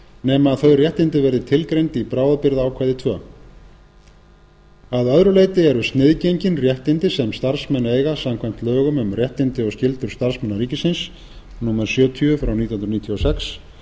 nema þau réttindi verði tilgreind í bráðabirgðaákvæði annars að öðru leyti eru sniðgengin réttindi sem starfsmenn eiga samkvæmt lögum um réttindi og skyldur starfsmanna ríkisins númer sjötíu nítján hundruð níutíu og sex